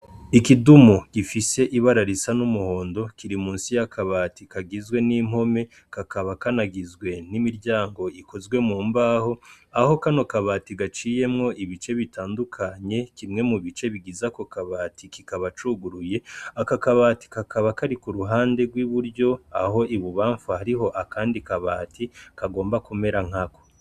Ikidimu gifise ibara risa n'umuhondo Kiri musi y'akabati kagizwe n'impome kakaba kanagizwe n'imiryango ikozwe mu mbaho aho kano kabati gaciyemwo ibice bitandukanye kimwe mu bice bigize Ako kabati kikaba cuguruye aka kabati kakaba kari Ku ruhandi rw'iburyo aho i bubanfu hariho akandi kabati kagomba kumera nkako.